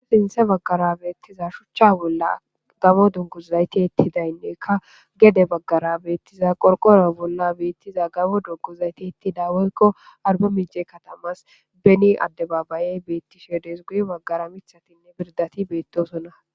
sinthe baggara beettiza shuchcha bolla gamo dunkuzayti ettidaynnekka gede baggara beettiza qorqoro bolla beettiza gamo dunkuzayti ettida woykko arba miice katamas beni addebabayey beettisheedes guy baggara mithatinne birdati beettosonna